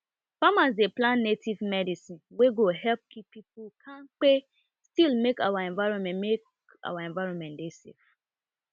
farmers dey plant native medicine wey go help keep people kampe still make our environment our environment dey safe